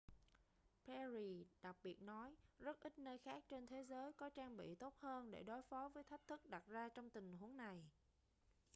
perry đặc biệt nói rất ít nơi khác trên thế giới có trang bị tốt hơn để đối phó với thách thức đặt ra trong tình huống này